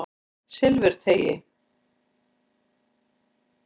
Silfurteigi